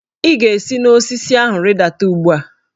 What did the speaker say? Ị ga-esi n'osisi ahụ rịdata ugbu a!